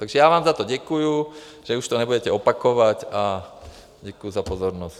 Takže já vám za to děkuju, že už to nebudete opakovat, a děkuji za pozornost.